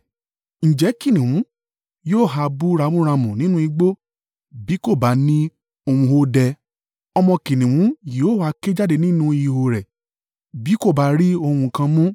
Ǹjẹ́ Kìnnìún yóò ha bú ramúramù nínú igbó, bí kò bá ní ohun ọdẹ? Ọmọ kìnnìún yóò ha ké jáde nínú ìhó rẹ̀ bí kò bá rí ohun kan mú?